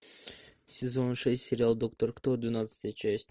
сезон шесть сериал доктор кто двенадцатая часть